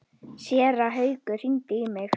Séra Haukur hringdi í mig.